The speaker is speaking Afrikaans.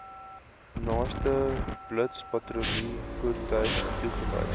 naaste blitspatrollievoertuig toegewys